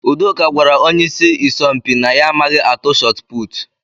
Udoka gwara onye ịsị isọmpi na ya amaghị atụ shotput.